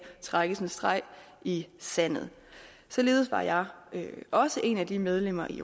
trækkes en streg i sandet således var jeg også en af de medlemmer i